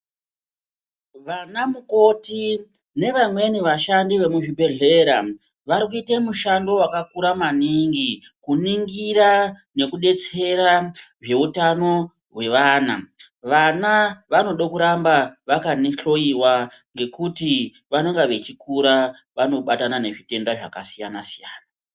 Vanamukoti nevamweni vashandi vemuzvibhedhlera vari kushanda mushando wakakura maningi, kuningira nekudetsera zveutano hwevana vana vanoda kuramba vakahloyiwa ngekuti pavanenge vachikura vanobatana nezvitenda zvakasiyana siyana.